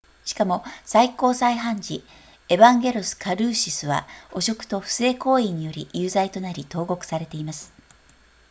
しかも最高裁判事エヴァンゲロスカルーシスは汚職と不正行為により有罪となり投獄されています